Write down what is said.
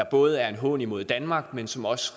både er en hån imod danmark men som også